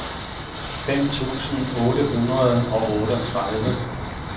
fem tusind otte hundrede og otteogtredive